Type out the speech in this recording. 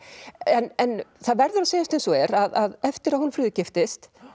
en það verður að segjast eins og er að eftir að Hólmfríður giftist